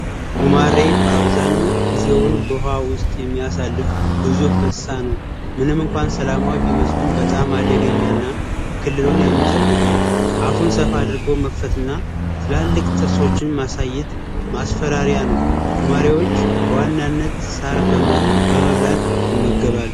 ጉማሬ አብዛኛው ጊዜውን በውሃ ውስጥ የሚያሳልፍ ግዙፍ እንስሳ ነው። ምንም እንኳን ሰላማዊ ቢመስልም በጣም አደገኛ እና ክልሉን የሚጠብቅ ነው። አፉን ሰፍ አድርጎ መክፈት እና ትላልቅ ጥርሶቹን ማሳየት ማስፈራሪያ ነው። ጉማሬዎች በዋናነት ሳር በመብላት ይመገባሉ።